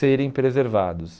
serem preservados.